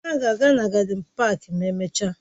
Ha ga-aga na gádịn páák ma emechaa